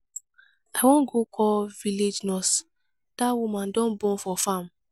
i wan go call village nurse dat woman don born for farm.